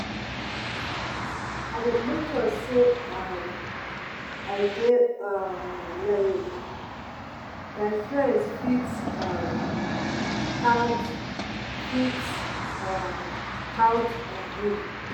I dey make sure sey um I dey um reliable, my friends fit um count fit um count on me.